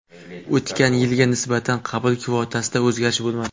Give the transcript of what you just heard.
O‘tgan yilga nisbatan qabul kvotasida o‘zgarish bo‘lmadi.